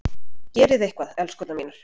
Gerið eitthvað, elskurnar mínar!